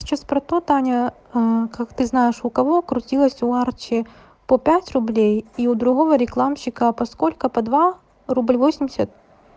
сейчас про то таня как ты знаешь у кого крутилось у арчи по пять рублей и у другого рекламщика по сколько по два рубль восемьдесят